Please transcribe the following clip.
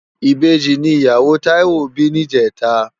Ibeji ni iyáwó Taiwo bi nijètá